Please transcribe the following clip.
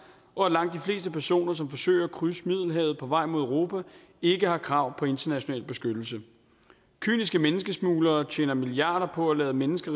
og at langt de fleste personer som forsøger at krydse middelhavet på vej mod europa ikke har krav på international beskyttelse kyniske menneskesmuglere tjener milliarder på at lade mennesker